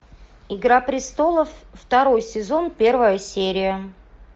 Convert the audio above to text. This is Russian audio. игра престолов второй сезон первая серия